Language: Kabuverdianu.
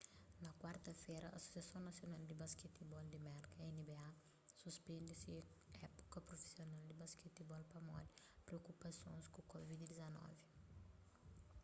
na kuarta-fera asosiason nasional di basketibol di merka nba suspende se épuka prufisional di basketibol pamodi priokupasons ku covid-19